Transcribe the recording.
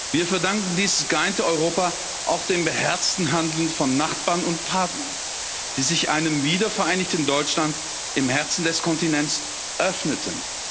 Wir verdanken dieses geeinte Europa auch dem beherzten Handeln von Nachbarn und Partnern, die sich einem wiedervereinigten Deutschland im Herzen des Kontinents öffneten.